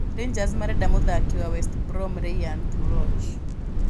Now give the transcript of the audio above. Rangers marenda mũthaki wa West Brom Rayhaan Tulloch.